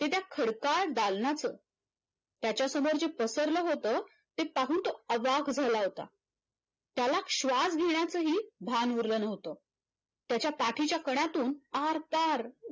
कि त्या खडका दालनाच त्याचा समोर जे पसरल होत ते पाहून तो अवाक झाला होता त्याला श्वास घेण्याचाही भान उरलं नव्हत त्याच्या पाठीचा कणातून आरपार